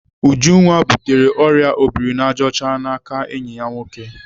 Ujunwa butere ọrịa obirinajọcha n'aka enyi ya nwoke.